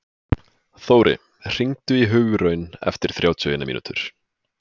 Þóri, hringdu í Hugraun eftir þrjátíu og eina mínútur.